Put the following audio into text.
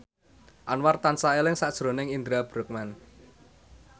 Anwar tansah eling sakjroning Indra Bruggman